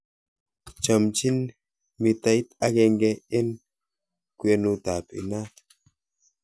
Chomchin metait agenge en kwenutab inaat